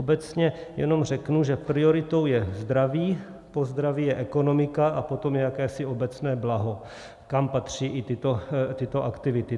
Obecně jenom řeknu, že prioritou je zdraví, po zdraví je ekonomika a potom jakési obecné blaho, kam patří i tyto aktivity.